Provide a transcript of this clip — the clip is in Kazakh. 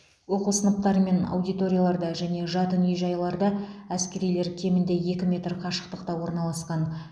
оқу сыныптары мен аудиторияларда және жатын үй жайларда әскерилер кемінде екі метр қашықтықта орналасқан